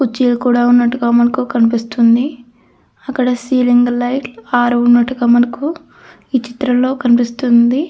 కుర్చీలు కూడా ఉన్నట్టుగా మనకు కనిపిస్తుంది. అక్కడ సిలింగ్ లైట్ ఆరు ఉన్నట్టుగా మనకు ఈ చిత్రంలో కనిపిస్తుంది.